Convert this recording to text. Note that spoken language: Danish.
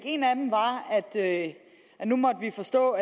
en af dem var at at nu måtte vi forstå